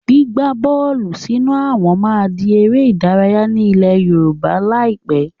Gbígba bọ́ọ́lù sínú àwọn máa di ère ìdárayá ni ilẹ̀ Yorùbá lai pẹ̀.